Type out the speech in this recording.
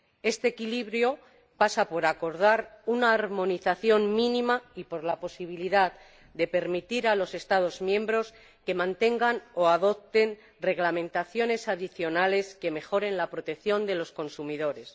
Este equilibrio pasa por acordar una armonización mínima y por la posibilidad de permitir a los Estados miembros que mantengan o adopten reglamentaciones adicionales que mejoren la protección de los consumidores.